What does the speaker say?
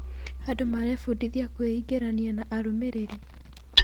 Andũ marebundithia kwĩingĩrania na arũmĩrĩri.